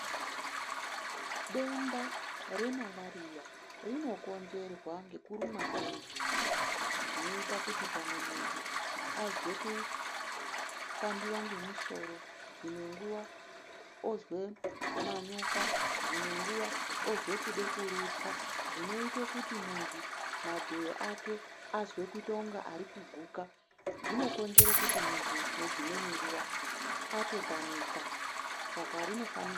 Denda remarariya rinokonzerwa ngekurumwa ngenhunga. Zvinoita kuti pamwe muntu azwe kupandiwa ngemusoro, dzimwe nguwa ozwe manyoka, dzimwe nguva ozwe kude kurutsa, zvinoite kuti munhu madhoyo ake ange arikuguka, zvinokonzere kuti muntu uyu dzimwe nguwa atotamika.